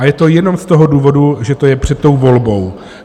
A je to jenom z toho důvodu, že to je před tou volbou.